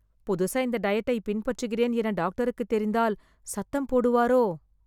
புதுசா இந்த டயட்டை பின்பற்றுகிறேன் என டாக்டருக்கு தெரிந்தால், சத்தம் போடுவாரோ...